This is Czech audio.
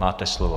Máte slovo.